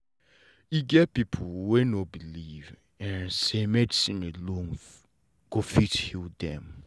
e get people wey no believe say medicine alone go fit heal them